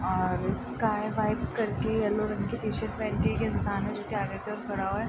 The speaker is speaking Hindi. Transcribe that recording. और स्काई व्हाइट करके येलो रंग की टी-शर्ट पहन के एक इंसान है जो कि आगे के ओर खड़ा हुआ है।